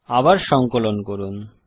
আবার সঙ্কলন করুন